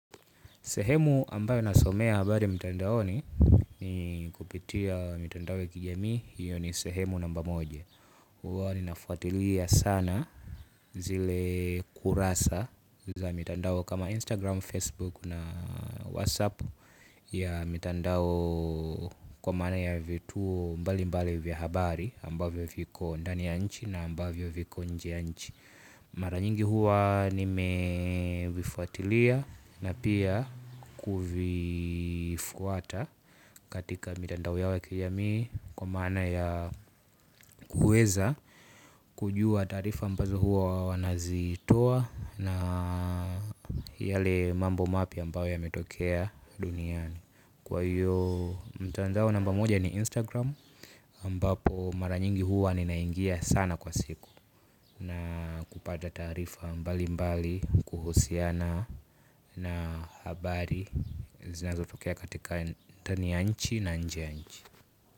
Sehemu ambayo nasomea habari mitandao ni kupitia mitandao ya kijamii, hiyo ni sehemu namba moja. Huwa ninafuatilia sana zile kurasa za mitandao kama Instagram, Facebook na Whatsapp ya mitandao kwa maana ina vitu mbali mbali vya habari ambavyo viko ndani ya nchi na ambayo viko inje ya nchi. Mara nyingi huwa nimevifuatilia na pia kuvifuata katika mitandao yao ya kijamii kwa maana ya kuweza kujua taarifa ambazo huwa wanazitoa na yale mambo mapya ambao yametokea duniani. Kwa hiyo mtandao namba moja ni Instagram Ambapo mara nyingi huwa ninaingia sana kwa siku. Na kupata taarifa mbali mbali kuhusiana na habari zinazo tokea katika ndani ya nchi na inje ya nchi.